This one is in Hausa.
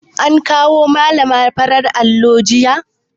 An kawo malana fararen allo jiya